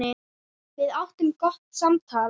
Við áttum gott samtal.